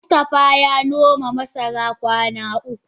Mustafa ya noma masara kwana uku.